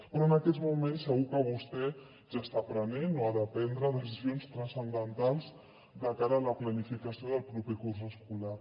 però en aquests moments segur que vostè ja està prenent o ha de prendre decisions transcendentals de cara a la planificació del proper curs escolar